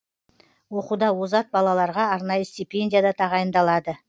оқуда озат балаларға арнайы стипендия да тағайындалады